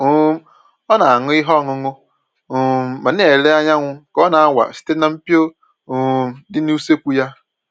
um Ọ na-aṅụ ihe ọṅụṅụ um ma na-ele anyanwụ ka ọ na-awa site na mpio um dị n'usekwu ya